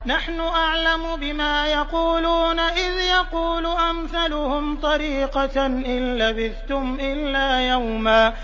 نَّحْنُ أَعْلَمُ بِمَا يَقُولُونَ إِذْ يَقُولُ أَمْثَلُهُمْ طَرِيقَةً إِن لَّبِثْتُمْ إِلَّا يَوْمًا